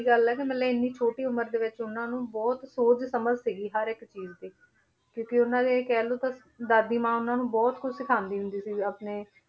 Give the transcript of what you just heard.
ਗੱਲ ਹੈ ਵੀ ਮਤਲਬ ਇੰਨੀ ਛੋਟੀ ਉਮਰ ਦੇ ਵਿੱਚ ਉਹਨਾਂ ਨੂੰ ਬਹੁਤ ਸੂਝ ਸਮਝ ਸੀਗੀ ਹਰ ਇੱਕ ਚੀਜ਼ ਦੀ ਕਿਉਂਕਿ ਉਹਨਾਂ ਦੀ ਕਹਿ ਲਓ ਤਾਂ ਦਾਦੀ ਮਾਂ ਉਹਨਾਂ ਨੂੰ ਬਹੁਤ ਕੁਛ ਸਿਖਾਉਂਦੀ ਹੁੰਦੀ ਸੀ ਆਪਣੇ,